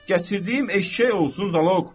Gətirdiyim eşşək olsun zaloq.